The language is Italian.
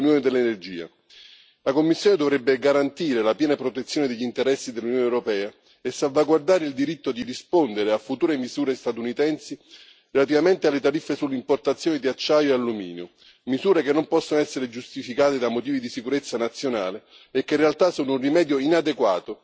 La Commissione dovrebbe garantire la piena protezione degli interessi dell'Unione europea e salvaguardare il diritto di rispondere a future misure statunitensi relativamente alle tariffe sulle importazioni di acciaio e alluminio, misure che non possono essere giustificate da motivi di sicurezza nazionale e che in realtà sono un rimedio inadeguato ai problemi reali